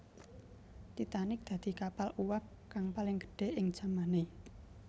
Titanic dadi kapal uwab kang paling gedhé ing jamané